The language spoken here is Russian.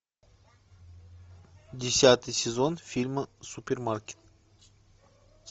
десятый сезон фильма супермаркет